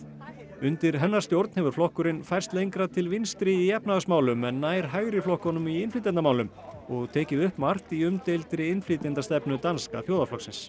undir hennar stjórn hefur flokkurinn færst lengra til vinstri í efnahagsmálum en nær hægri flokkunum í innflytjendamálum og tekið upp margt í umdeildri innflytjendastefnu Danska þjóðarflokksins